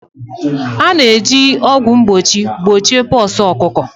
A na-eji ọgwụ mgbochi gbochie pọx ọkụkọ